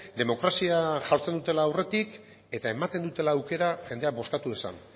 demokrazia jartzen dutela aurretik eta ematen dutela aukera jendea bozkatu dezan